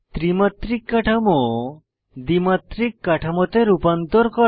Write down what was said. ত্রিমাত্রিক কাঠামো দ্বিমাত্রিক কাঠামোতে রূপান্তর করা